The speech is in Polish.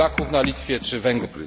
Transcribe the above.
Polaków na Litwie, czy Węgrów.